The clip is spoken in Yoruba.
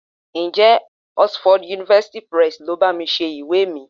Ǹjẹ́ Oxford University Press le bá mi ṣe ìwé mi?